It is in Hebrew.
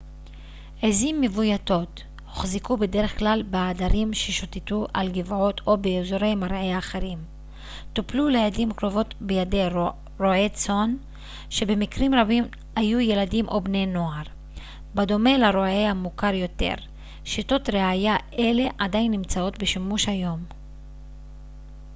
עזים מבויתות הוחזקו בדרך כלל בעדרים ששוטטו על גבעות או באזורי מרעה אחרים טופלו לעתים קרובות בידי רועי צאן שבמקרים רבים היו ילדים או בני נוער בדומה לרועה המוכר יותר שיטות רעייה אלה עדיין נמצאות בשימוש היום